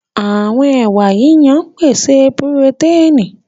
Àwọn ẹwà yíyan ń pèsè purotẹ́ẹ̀nì